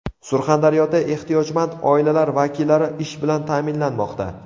Surxondaryoda ehtiyojmand oilalar vakillari ish bilan ta’minlanmoqda.